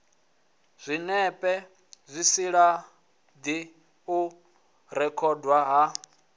zwinepe zwisilaidi u rekhodwa ha